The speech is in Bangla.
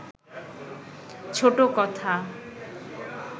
ছোট কথা